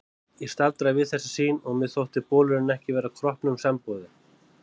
Ég staldraði við þessa sýn og mér þótti bolurinn ekki vera kroppnum samboðinn.